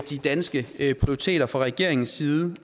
de danske prioriteter fra regeringens side